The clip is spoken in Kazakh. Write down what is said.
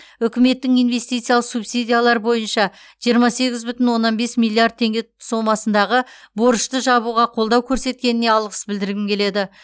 үкіметтің инвестициялық субсидиялар бойынша жиырма сегіз бүтін оннан бес миллиард теңге сомасындағы борышты жабуға қолдау көрсеткеніне алғыс білдіргім келеді